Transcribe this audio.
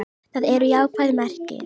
Það eru jákvæð merki.